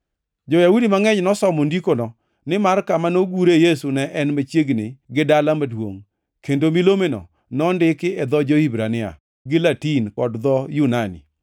Jo-Yahudi mangʼeny nosomo ndikono, nimar kama nogure Yesu ne ni machiegni gi dala maduongʼ, kendo milomeno nondiki e dho jo-Hibrania, gi Latin kod dho jo-Yunani.